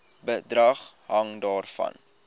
bedrag hang daarvan